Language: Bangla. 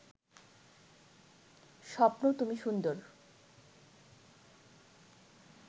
স্বপ্ন তুমি সুন্দর